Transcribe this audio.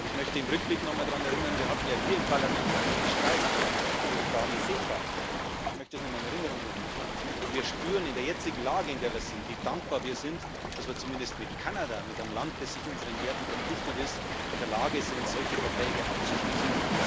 Ich möchte im Rückblick nochmal daran erinnern Wir hatten ja hier im Parlament viel Streit über die Frage CETA ich möchte das nochmal in Erinnerung rufen und wir spüren in der jetzigen Lage, wie dankbar wir sind, dass wir zumindest mit Kanada, mit einem Land, das unseren Werten verpflichtet ist, in der Lage sind, solche Verträge abzuschließen.